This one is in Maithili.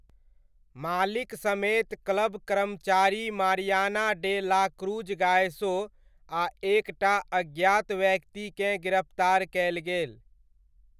मालिक समेत क्लब कर्मचारी Mariana de la Cruz Gayoso आ एक टा अज्ञात व्यक्तिकेँ गिरफ्तार कयल गेल।